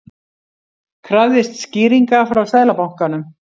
Krafðist skýringa frá Seðlabankanum